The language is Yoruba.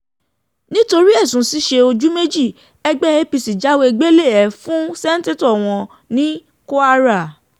nítorí ẹ̀sùn ṣíṣe ojú méjì ẹgbẹ́ apc jáwé gbélé-e fún ṣèǹtẹ̀tò wọn ní kwara